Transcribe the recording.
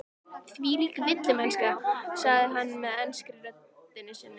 Þvílík villimennska, sagði hann með ensku röddinni sinni.